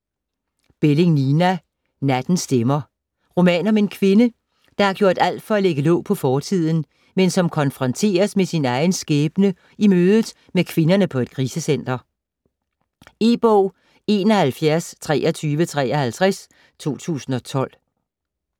Belling, Nina: Nattens stemmer Roman om en kvinde, der har gjort alt for at lægge låg på fortiden, men som konfronteres med sin egen skæbne i mødet med kvinderne på et krisecenter. E-bog 712353 2012.